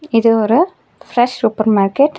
இது ஒரு fresh super market .